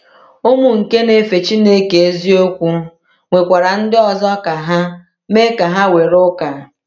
Ụmụ nke na-efe Chineke eziokwu nwekwara ndị ọzọ ka ha mee ka ha were ụka.